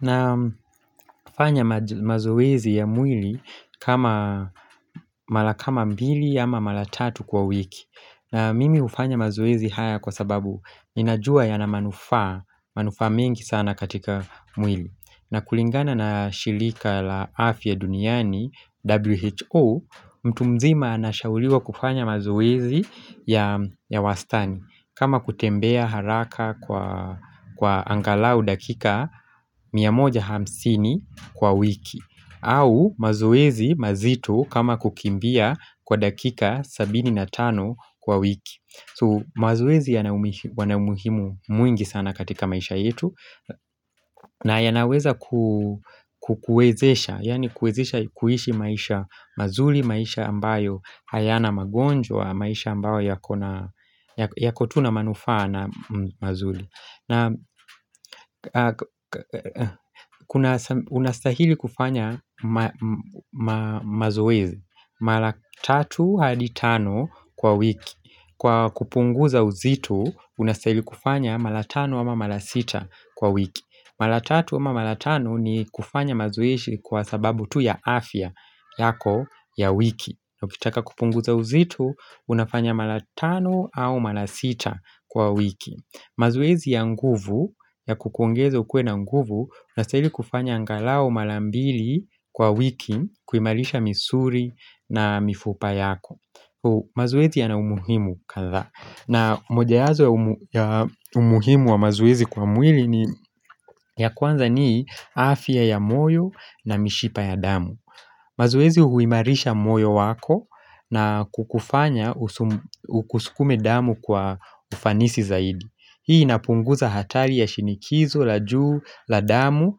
Nafanya mazoezi ya mwili kama mara kama mbili ama mara tatu kwa wiki. Na mimi hufanya mazoezi haya kwa sababu ninajua yana manufaa manufaa mengi sana katika mwili. Na kulingana na shirika la afya duniani WHO mtu mzima anashauliwa kufanya mazoezi ya wastani kama kutembea haraka kwa kwa angalau dakika mia moja hamsini kwa wiki. Au, mazuezi mazito kama kukimbia kwa dakika sabini na tano kwa wiki. So mazoezi yana umuhimu mwingi sana katika maisha yetu na yanaweza kukuwezesha, yani kukuwezesha kuishi maisha mazuri maisha ambayo hayana magonjwa maisha ambayo yakona yako tu na manufaa na mazuri Kuna unastahili kufanya mazoezi mara tatu hadi tano kwa wiki. Kwa kupunguza uzito unastahili kufanya mara tano ama mara sita kwa wiki. Mara tatu ama mara tano ni kufanya mazoezii kwa sababu tu ya afya yako ya wiki Ukitaka kupunguza uzito, unafanya mara tano au mara sita kwa wiki. Mazoezi ya nguvu, ya kukuongezo uwe na nguvu, unastahili kufanya angalau mara mbili kwa wiki kuimarisha misuli na mifupa yako mazoezi yana umuhimu kadhaa. Na moja wapo ya umuhimu wa mazoezi kwa mwili ni ya kwanza ni afya ya moyo na mishipa ya damu mazoezi huimarisha moyo wako na kukufanya usukume damu kwa ufanisi zaidi. Hii inapunguza hatali ya shinikizo, la juu, la damu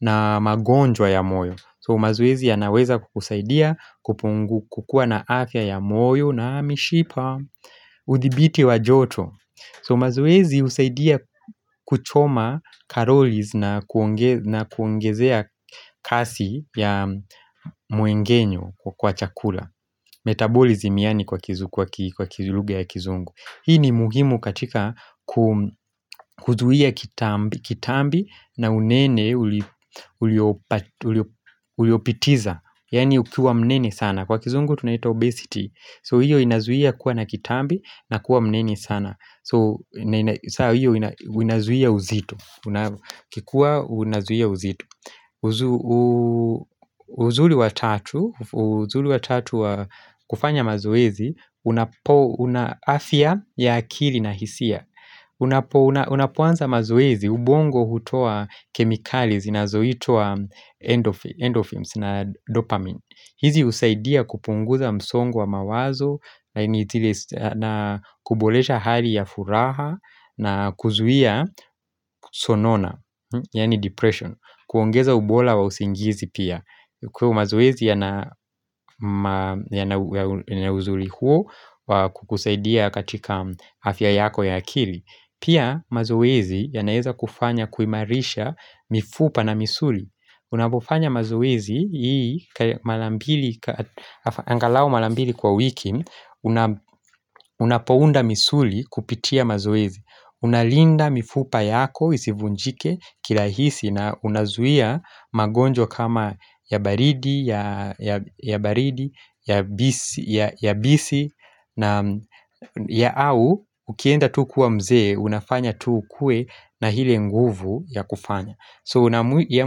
na magonjwa ya moyo. So mazoezi yanaweza kukusaidia kupungu kukuwa na afya ya moyo na ya mishipa udhibiti wa joto. So mazoezi husaidia kuchoma karoli na kuongezea kasi ya m'mengenyo wa chakula Metabolism yaani kwa kizu kwa lugha ya kizungu. Hii ni muhimu katika kuzuia kitambi na unene uliopitiliza. Yaani ukiwa mnene sana. Kwa kizungu tunaita obesity. So hiyo inazuia kuwa na kitambi na kuwa mnene sana. So, sasa hiyo inazuia uzito. Kikiwa ninazuia uzito uzuri wa tatu, uzuri wa tatu wa kufanya mazoezi, una afya ya akili na hisia unapoanza mazoezi ubongo hutoa kemikali zinazoitua endorphins na dopamine. Hizi husaidia kupunguza msongo wa mawazo na kubolesha hali ya furaha na kuzuia kunona Yaani depression. Kuongeza ubora wa usingizi pia. Kwa hivyo mazoezi yana uzuri huo kukusaidia katika afya yako ya akili. Pia mazoezi yanaweza kufanya kuimarisha mifupa na misuli. Unapofanya mazoezi hii mara mbi angalau mara mbili kwa wiki, unapounda misuli kupitia mazoezi, unalinda mifupa yako isivunjike kirahisi na unazuia magonjwa kama ya baridi, ya bisi na ya au ukienda tu kuwa mzee unafanya tu uwe na ile nguvu ya kufanya. So ya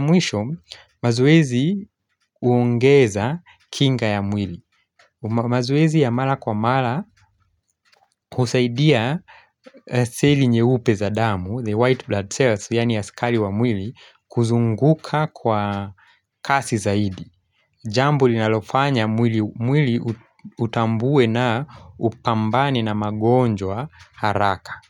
mwisho mazoezi huongeza kinga ya mwili mazoezi ya mara kwa mara husaidia seli nyeupe za damu, the white blood cells, yaani askari wa mwili kuzunguka kwa kasi zaidi Jambo linalofanya mwili utambue na upambani na magonjwa haraka.